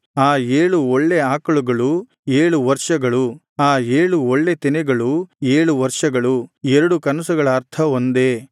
ಆ ಏಳು ಒಳ್ಳೆ ಆಕಳುಗಳು ಏಳು ವರ್ಷಗಳು ಆ ಏಳು ಒಳ್ಳೆ ತೆನೆಗಳು ಏಳು ವರ್ಷಗಳು ಎರಡು ಕನಸುಗಳ ಅರ್ಥ ಒಂದೇ